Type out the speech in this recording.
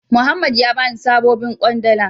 Muhammed ya bani sabobin kwandala.